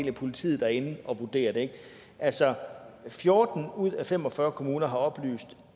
er politiet der er inde at vurdere det altså fjorten ud af fem og fyrre kommuner har oplyst